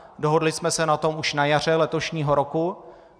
Dohodli jsme se na tom už na jaře letošního roku.